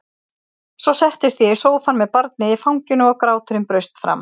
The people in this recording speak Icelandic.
Svo settist ég í sófann með barnið í fanginu og gráturinn braust fram.